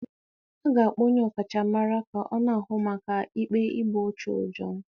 A ga-akpọ onye ọkachamara ka ọ na-ahụ maka ikpe igbu ọchụ John